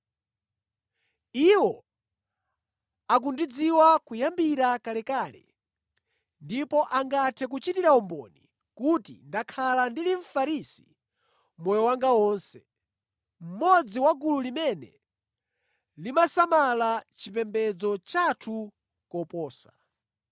Iwo akundidziwa kuyambira kalekale ndipo angathe kuchitira umboni kuti ndakhala ndili Mfarisi moyo wanga wonse, mmodzi wa gulu limene limasamala chipembedzo chathu koposa.